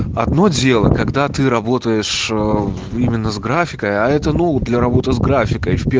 одно дело когда ты работаешь именно с графикой а это ну для работы с графикой